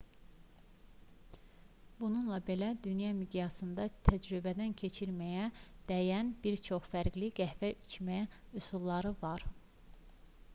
bununla belə dünya miqyasında təcrübədən keçirməyə dəyən bir çox fərqli qəhvə içmə üsulları var